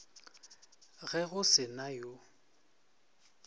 ge go se na yo